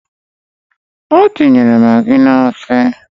O tinyere magi n’ofe